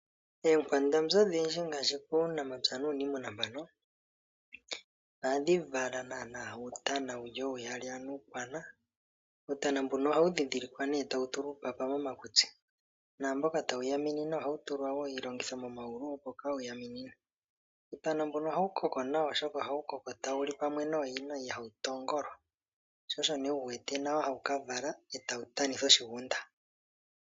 Oonkwandambi odhindji ngaashi puunamapya nuuniimuna ohadhi vala uutana oouyali, ano uukwana. Uutana mbuno ohawu dhindhilikwa nduno tawu tulwa uupapa momakutsi naamboka tawu yaminine ohawu tulwa iilongitho momayulu opo kaawu yaminine. Ohawu koko tawu nawa, oshoka ohawu li pamwe nooyina, ihawu tongolwa sho osho hawu ka vala e tawu tanitha oshigunda.